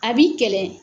A b'i kɛlɛ